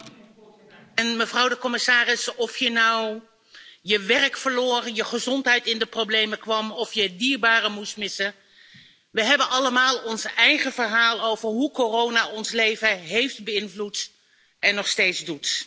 Voorzitter, mevrouw de commissaris, of je nou je werk verloor, je gezondheid in de problemen kwam of je dierbaren moest missen, we hebben allemaal ons eigen verhaal over hoe corona ons leven heeft beïnvloed, en dat nog steeds doet.